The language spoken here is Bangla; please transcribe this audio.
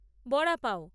বড়া পাও